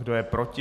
Kdo je proti?